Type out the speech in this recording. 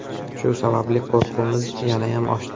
Shu sababli qo‘rquvimiz yanayam oshdi.